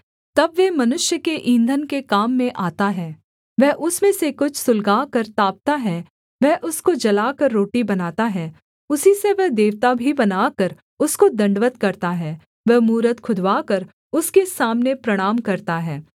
तब वह मनुष्य के ईंधन के काम में आता है वह उसमें से कुछ सुलगाकर तापता है वह उसको जलाकर रोटी बनाता है उसी से वह देवता भी बनाकर उसको दण्डवत् करता है वह मूरत खुदवाकर उसके सामने प्रणाम करता है